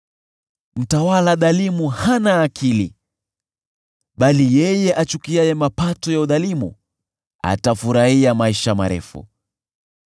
Mtawala dhalimu hana akili, bali yeye achukiaye mapato ya udhalimu atafurahia maisha marefu.